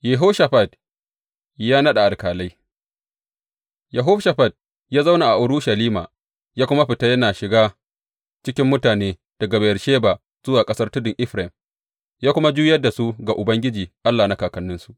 Yehoshafat ya naɗa alƙalai Yehoshafat ya zauna a Urushalima, ya kuma fita yana shiga cikin mutane daga Beyersheba zuwa ƙasar tudun Efraim ya kuma juyar da su ga Ubangiji Allah na kakanninsu.